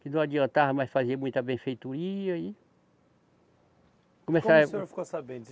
Que não adiantava mais fazer muita benfeitoria e. Como o senhor ficou sabendo?